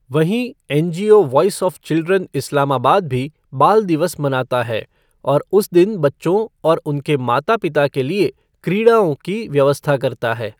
वहीं, NGO voice of children Islamabad भी बाल दिवस मनाता है और उस दिन बच्चों और उनके माता पिता के लिए क्रीड़ाओं की व्यवस्था करता है।